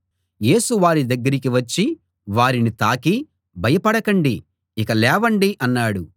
యేసు వారి దగ్గరికి వచ్చి వారిని తాకి భయపడకండి ఇక లేవండి అన్నాడు